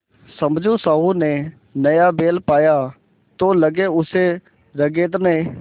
समझू साहु ने नया बैल पाया तो लगे उसे रगेदने